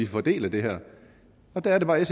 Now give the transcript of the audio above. fordele det her og der er det bare